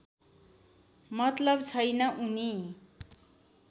मतलव छैन उनी